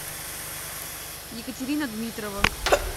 екатерина дмитрова